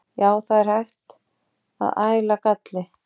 Já, það er hægt að æla galli.